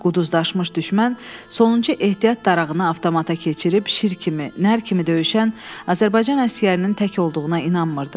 Quduzlaşmış düşmən sonuncu ehtiyat darağını avtomata keçirib şir kimi, nər kimi döyüşən Azərbaycan əsgərinin tək olduğuna inanmırdı.